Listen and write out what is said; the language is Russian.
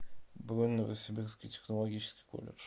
бронь новосибирский технологический колледж